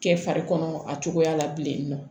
Kɛ fari kɔnɔ a cogoya la bilen